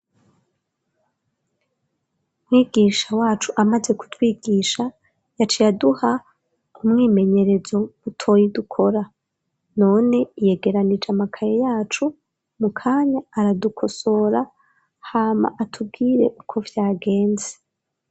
Mwigisha wacu amaze kutwigisha yaciye aduha umwimenyerezo mutoyi dukora none yegeranije amakaye yacu mu kanya aradukosora hama atubwire uko vyagenze.